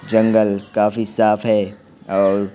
जंगल काफी साफ हैऔर--